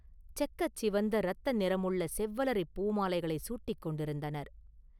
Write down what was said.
செக்கச் சிவந்த இரத்த நிறமுள்ள செவ்வலரிப் பூமாலைகளைச் சூட்டிக் கொண்டிருந்தனர்.